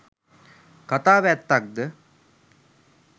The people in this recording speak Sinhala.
කතාව ඇත්තක්ද?